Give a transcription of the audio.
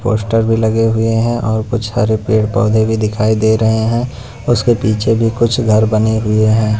Poster भी लगे हुए हैं और कुछ हरे पेड़-पौधे भी दिखाई दे रहे हैं उसके पीछे भी कुछ घर बने हुए हैं।